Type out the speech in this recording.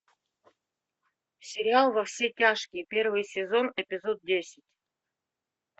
сериал во все тяжкие первый сезон эпизод десять